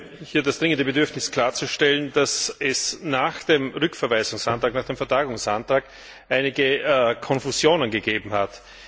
Ich habe das dringende Bedürfnis, klarzustellen, dass es nach dem Rückverweisungsantrag, nach dem Vertagungsantrag einige Konfusionen gegeben hat.